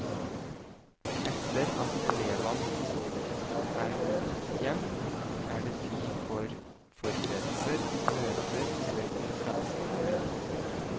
Etter at elevene er gått hjem, er det tid for forberedelser, møter eller konferansetimer.